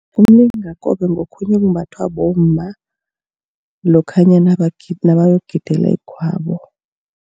Umlingakobe ngokhunye okumbathwa bomma lokhanyana nabayokugidela igwabo.